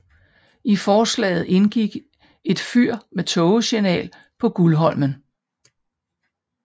I forslaget indgik et fyr med tågesignal på Gullholmen